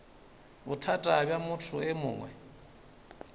bothata bja motho e mongwe